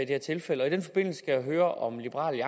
her tilfælde og i den forbindelse skal jeg høre om liberal